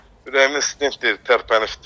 Ürəyimdə deyir stent tərpənibdir.